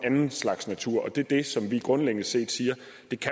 anden slags natur det er det som vi grundlæggende set siger